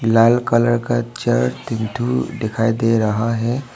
लाल colour का chair तीन ठो दिखाई दे रहा है।